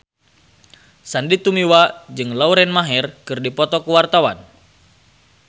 Sandy Tumiwa jeung Lauren Maher keur dipoto ku wartawan